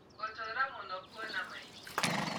Gũtũra mũno kũona maingĩ